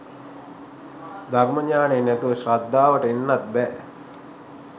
ධර්ම ඤාණය නැතුව ශ්‍රද්ධාවට එන්නත් බෑ